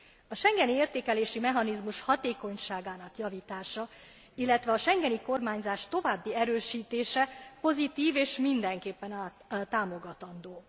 A schengeni értékelési mechanizmus hatékonyságának javítása, illetve a schengeni kormányzás további erősítése pozitív, és mindenképpen támogatandó.